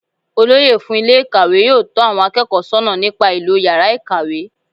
Olóyè fún Ilé ìkàwé yóò tó àwon akéèkó sónà nípa ìlò yàrá ìkàwé